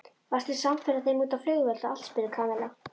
Varstu samferða þeim út á flugvöll og allt? spurði Kamilla.